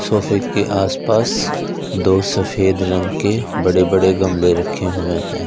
सोफे के आस पास दो सफेद रंग के बड़े बड़े गमले रखे हुए हैं।